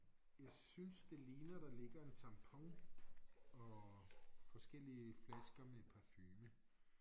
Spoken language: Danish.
Jeg synes det ligner der ligger en tampon og forskellige flasker med parfume